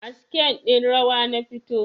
A scene ɗin rawa na fito